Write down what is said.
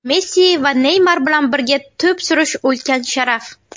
Messi va Neymar bilan birga to‘p surish ulkan sharaf.